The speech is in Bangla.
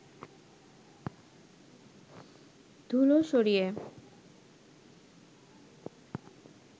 ধুলো সরিয়ে